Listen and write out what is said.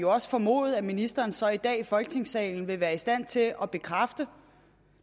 også formode at ministeren så i dag i folketingssalen vil være i stand til at bekræfte